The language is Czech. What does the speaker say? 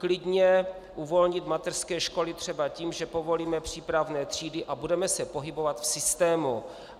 Klidně uvolnit mateřské školy třeba tím, že povolíme přípravné třídy a budeme se pohybovat v systému.